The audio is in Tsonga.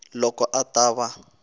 loko a ta va a